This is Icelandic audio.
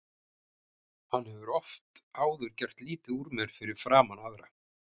Hann hefur oft áður gert lítið úr mér fyrir framan aðra.